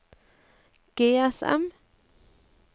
GSM